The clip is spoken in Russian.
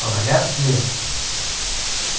вряд ли